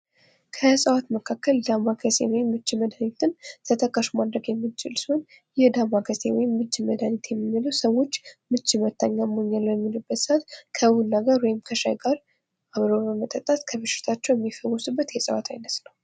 ከእጽዋት መካከል ዳማከሴን ወይም የምች መድሃኒትን ተጠቃሽ ማድረው ያምንችል ሲሆን ይህ ዳማ ከሴ ወይም ምች መድሃኒት የምንለው ሰዎች ምች በመታቸው ጊዜ ከቡና ጋር ወይም ከሻይ ጋር አብሮ በመጠጣት ከበሽታዎች የሚያድናቸው ነው።